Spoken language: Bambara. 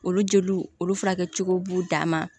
Olu jeliw olu furakɛ cogow b'u dan ma